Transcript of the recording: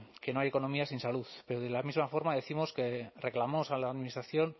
que no hay economía sin salud pero de la misma forma reclamamos a la administración